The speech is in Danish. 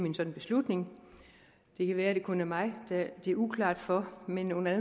en sådan beslutning det kan være det kun er mig det er uklart for men under